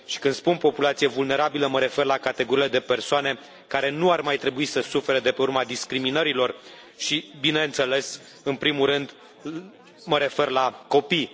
Și când spun populație vulnerabilă mă refer la categoriile de persoane care nu ar mai trebui să sufere de pe urma discriminărilor și, bineînțeles, în primul rând mă refer la copii.